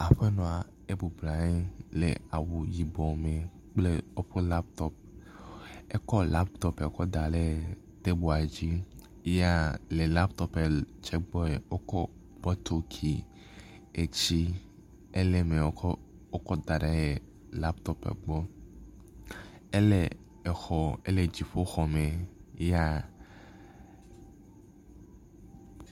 Aƒenɔa ebɔblɔ nɔ anyi le awu yibɔ me kple eƒe latɔpu. Ekɔ latɔpua kɔ le tɛbela dzi yea le latɔpu tsɛ gbɔe, wokɔ bɔtuki etsi ele me wokɔ wokɔ da ɖe latɔpu gbɔ. Ele exɔ ele dziƒoxɔ me yea